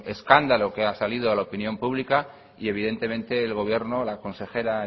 escándalo que ha salido a la opinión pública y evidentemente el gobierno la consejera